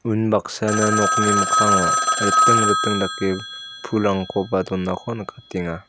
unbaksana nokni mikkango riting riting dake pulrangkoba donako nikatenga.